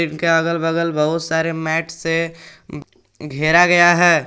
इनके अगल बगल बहुत सारे मैट से घेरा गया है।